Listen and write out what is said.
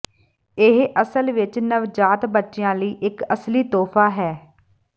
ਇਹ ਅਸਲ ਵਿੱਚ ਨਵਜਾਤ ਬੱਚਿਆਂ ਲਈ ਇਕ ਅਸਲੀ ਤੋਹਫਾ ਹੈ